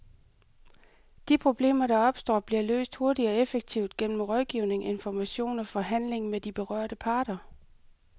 De problemer, der opstår, bliver løst hurtigt og effektivt gennem rådgivning, information og forhandling med de berørte parter.